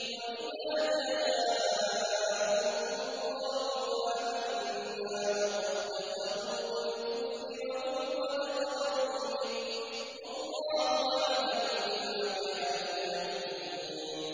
وَإِذَا جَاءُوكُمْ قَالُوا آمَنَّا وَقَد دَّخَلُوا بِالْكُفْرِ وَهُمْ قَدْ خَرَجُوا بِهِ ۚ وَاللَّهُ أَعْلَمُ بِمَا كَانُوا يَكْتُمُونَ